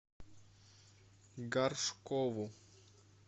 горшкову